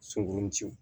Sunkurunjiw